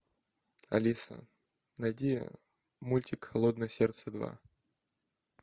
алиса найди мультик холодное сердце два